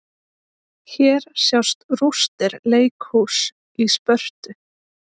Hér sjást rústir leikhúss í Spörtu.